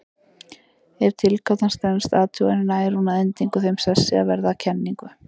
Ef tilgátan stenst athuganir nær hún að endingu þeim sessi að verða að kenningu.